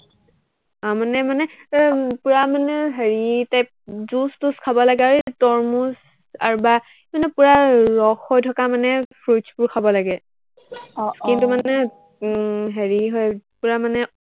আহ মানে মানে এৰ উম পূৰা মানে হেৰি type juice তুচ খাব লাগে, আৰু হেৰি মানে তৰমুজ আৰু বা পূৰা মানে ৰস হৈ থকা fruits বোৰ খাব লাগে আহ আহ skin টো মানে উম হেৰি হয়, পূৰা মানে